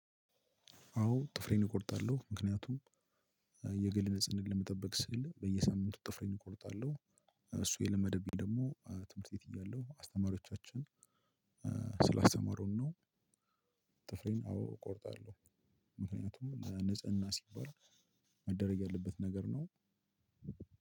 አዎ ጥፍሬን እቆርጣለሁ። ምክንያቱም የግል ንጽህናን ለመጠበቅ ስል በየሳምንቱ ጥፍሬን እቆርጣለሁ። እሱ የለመደብኝ ደግሞ ትምህርት ቤት እያለሁ አስተማሪዎቻችን ስላስተማሩን ነው። ጥፍሬን አዎ እቆርጣለሁ። ምክንያቱም ለንጽህና ሲባል መደረግ ያለበት ነገር ነው።